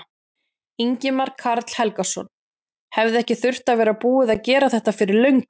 Ingimar Karl Helgason: Hefði ekki þurft að vera búið að gera þetta fyrir löngu?